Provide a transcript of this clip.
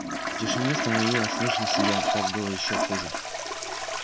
в тишине становилось слышно себя так было ещё хуже